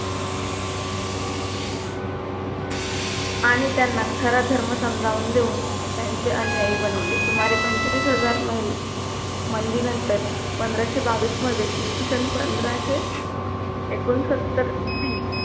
आणि त्यांना खरा धर्म समजावून देऊन त्यांचे अनुयायी बनवले * सुमारे पंचवीस हजार मही मंदी नंतर पंधराशे बावीस मध्ये इसवी सन पंधराशे एकोणसत्तर बी